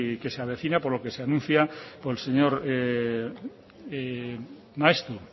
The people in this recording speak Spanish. que se avecina por lo que se anuncia por el señor maeztu